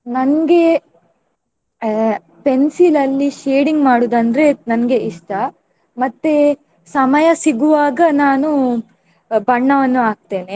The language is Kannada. ನನ್ಗೆ ಅಹ್ pencil ಅಲ್ಲಿ shading ಮಾಡುದಂದ್ರೆ ನನ್ಗೆ ಇಷ್ಟ. ಮತ್ತೆ ಸಮಯ ಸಿಗುವಾಗ ನಾನು ಬಣ್ಣವನ್ನು ಹಾಕುತ್ತೇನೆ.